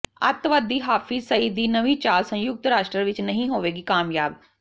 ਅੱਤਵਾਦੀ ਹਾਫਿਜ਼ ਸਈਦ ਦੀ ਨਵੀਂ ਚਾਲ ਸੰਯੁਕਤ ਰਾਸ਼ਟਰ ਵਿਚ ਨਹੀਂ ਹੋਵੇਗੀ ਕਾਮਯਾਬ